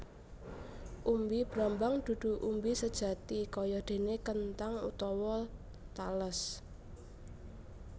Umbi brambang dudu umbi sejati kayadéné kenthang utawa tales